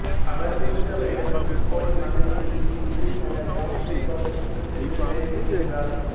அவர் முத்தவரிடம் போய்மகனே நீ இன்று திராட்சைத் தோட்டத்திற்குச் சென்று வேலை செய் என்றார்